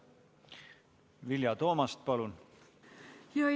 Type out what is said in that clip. Vilja Toomast, palun!